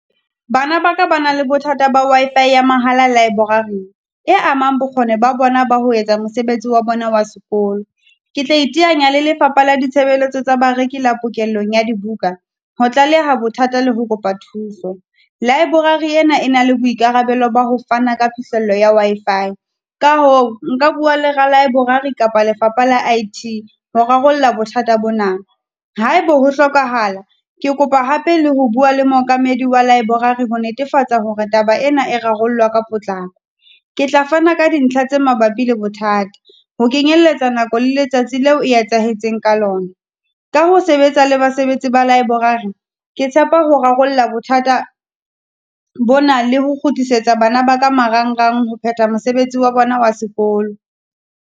Bana ba ka ba na le bothata ba Wi-Fi ya mahala library. E among bokgoni ba bona ba ho etsa mosebetsi wa bona wa sekolo, ke tla iteanya le lefapha la ditshebeletso tsa bareki la pokellong ya dibuka, ho tlaleha bothata le ho kopa thuso. Library ena e na le boikarabelo ba ho fana ka phihlello ya Wi-Fi, ka hoo nka bua le ralibrary kapa lefapha la I_T ho rarolla bothata bona, ha e be ho hlokahala, ke kopa hape le ho bua le mookamedi wa library ho netefatsa hore taba ena e rarollwa ka potlako. Ke tla fana ka dintlha tse mabapi le bothata, ho kenyelletsa nako le letsatsi leo e etsahetseng ka lona ka ho sebetsa le basebetsi ba library. Ke tshepa ho rarolla bothata bona le ho kgutlisetsa bana ba ka marangrang ho phetha mosebetsi wa bona wa sekolo.